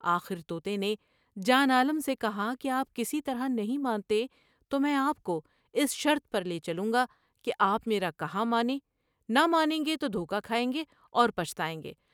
آخر تو تے نے جوان عالم سے کہا کہ آپ کسی طرح نہیں مانتے تو میں آپ کو اس شرط پر لے چلوں گا کہ آپ میرا کہا مانیں ، نہ مانیں گے تو دھوکا کھائیں گے اور پچھتائیں گے ۔